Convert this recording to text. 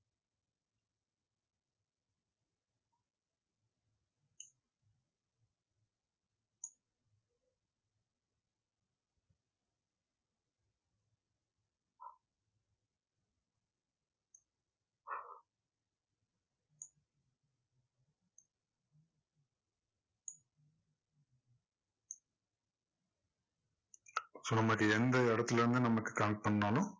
so நமக்கு எந்த இடத்துல இருந்து நம்ம connect பண்ணாலும்